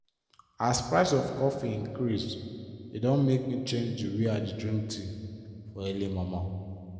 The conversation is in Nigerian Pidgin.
as price of coffee increase e don make me change d way i drink dey tea for early momo.